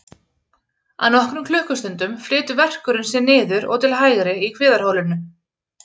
Á nokkrum klukkustundum flytur verkurinn sig niður og til hægri í kviðarholinu.